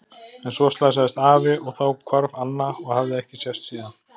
En svo slasaðist afi og þá hvarf Anna og hafði ekki sést síðan.